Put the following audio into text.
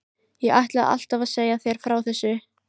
Ég ætlaði alltaf að segja þér frá þessu.